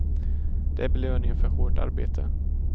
Det är belöning för hårt arbete.